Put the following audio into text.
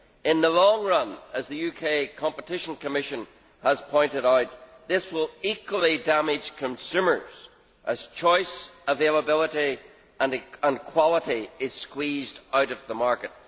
In the long run, as the UK Competition Commission has pointed out, this will equally damage consumers as choice, availability and quality are squeezed out of the market.